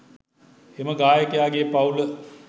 එම ගායකයාගේ පවුල